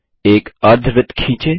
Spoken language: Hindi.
एक अर्धवृत्त खींचें